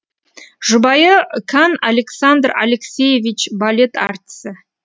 жұбайы кан александр алексеевич балет әртісі